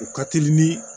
U ka teli ni